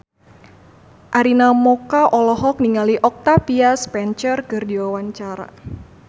Arina Mocca olohok ningali Octavia Spencer keur diwawancara